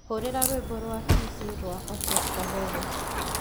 hurira rwimbo rwa kesse rwa orchestre veve